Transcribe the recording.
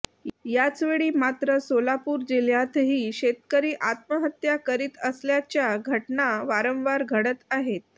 याचवेळी मात्र सोलापूर जिह्यातही शेतकरी आत्महत्या करीत असल्याच्या घटना वारंवार घडत आहेत